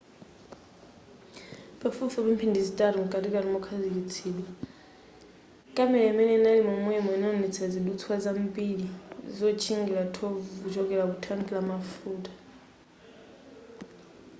pafupifupi mphindi zitatu mkatikati mokhazikitsidwa kamera imene inali momwemo inawonetsa zidutswa zambiri zotchingira thovu kuchoka mu thanki la mafuta